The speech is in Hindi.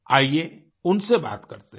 आइये उनसे बात करते हैं